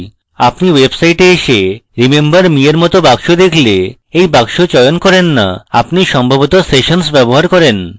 আপনি website এসে remember me এর মত box দেখলে এই box চয়ন করেন না আপনি সম্ভবত সেশনস ব্যবহার করবেন